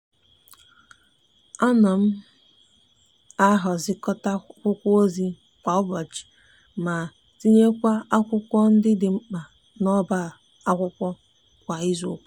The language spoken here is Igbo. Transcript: a no m a hazicota akwukwu ozi kwa ubochi ma tinyekwa akwukwo ndi di nkpa n' oba akwukwo kwa izuuka.